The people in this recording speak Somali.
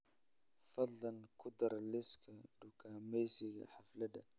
fadlan ku dar liiska dukaamaysiga xaflada